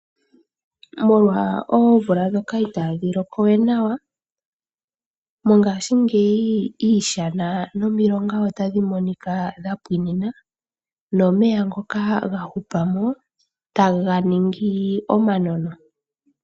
Molwa oomvula ndhoka itaa dhi loko we nawa, mongashingeyi iishana nomilonga otadhi monika dha pwiinina. Nomeya ngoka ga hupa mo taga ningi omanono.